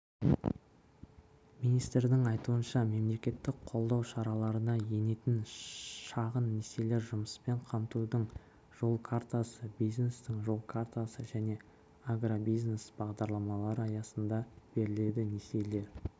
министрдің айтуынша мемлекеттік қолдау шараларына енетін шағын несиелер жұмыспен қамтудың жол картасы бизнестің жол картасы және агробизнес бағдарламалары аясында беріледі несиелер